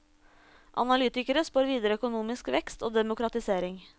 Analytikere spår videre økonomisk vekst og demokratisering.